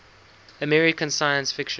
american science fiction